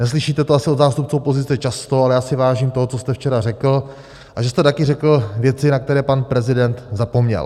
Neslyšíte to asi od zástupců opozice často, ale já si vážím toho, co jste včera řekl, a že jste taky řekl věci, na které pan prezident zapomněl.